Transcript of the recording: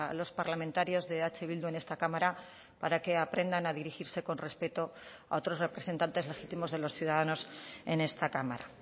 los parlamentarios de eh bildu en esta cámara para que aprendan a dirigirse con respeto a otros representantes legítimos de los ciudadanos en esta cámara